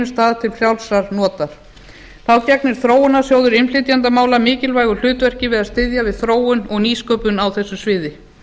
stað til frjálsra nota þá gegnir þróunarsjóður innflytjendamála mikilvægu hlutverki við að styðja við þróun og nýsköpun á þessu sviði